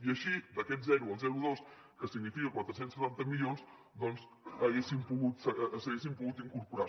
i així d’aquest zero al zero coma dos que significa quatre cents i setanta milions doncs s’hi haguessin pogut incorporar